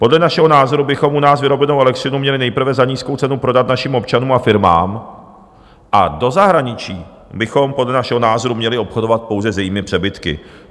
Podle našeho názoru bychom u nás vyrobenou elektřinu měli nejprve za nízkou cenu prodat našim občanům a firmám a do zahraničí bychom podle našeho názoru měli obchodovat pouze s jejími přebytky.